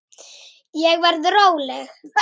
Ég verð róleg.